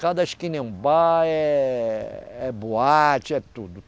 Cada esquina é um bar, é, é boate, é tudo.